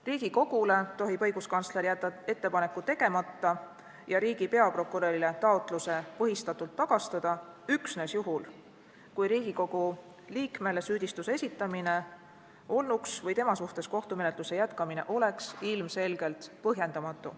Riigikogule tohib õiguskantsler jätta ettepaneku tegemata ja riigi peaprokurörile taotluse põhistatult tagastada üksnes juhul, kui Riigikogu liikmele süüdistuse esitamine olnuks või tema suhtes kohtumenetluse jätkamine oleks ilmselgelt põhjendamatu.